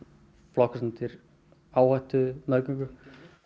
flokkaðist undir áhættumeðgöngu